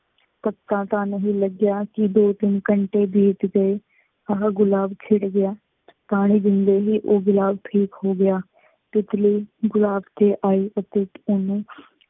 ਪਤਾ ਤਾਂ ਨਹੀਂ ਲੱਗਿਆ ਕਿ ਦੋ ਤਿੰਨ ਘੰਟੇ ਬੀਤ ਗਏ। ਉਹ ਗੁਲਾਬ ਖਿੜ੍ਹ ਗਿਆ। ਪਾਣੀ ਦਿੰਦੇ ਹੀ ਉਹ ਗੁਲਾਬ ਠੀਕ ਹੋ ਗਿਆ। ਤਿੱਤਲੀ ਉਹ ਗੁਲਾਬ ਤੇ ਆਈ ਅਤੇ ਉਹਨੂੰ